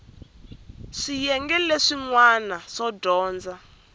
swiyenge leswin wana swo dyondza